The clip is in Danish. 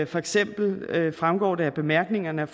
for eksempel fremgår det af bemærkningerne